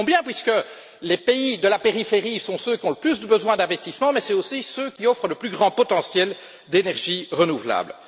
Cela tombe bien puisque les pays de la périphérie sont ceux qui ont le plus besoin d'investissement, mais aussi ceux qui offrent le plus grand potentiel d'énergies renouvelables.